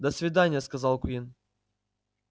до свидания сказал куинн